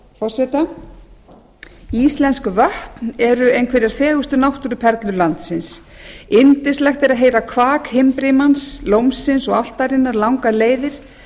forseta íslensk vötn eru einhverjar fegurstu náttúruperlur landsins yndislegt er að heyra kvak himbrimans lómsins og álftarinnar langar leiðir